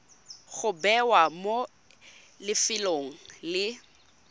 go bewa mo lefelong le